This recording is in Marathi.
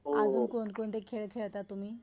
अजून कोण कोणते खेळ खेळाता तुम्ही?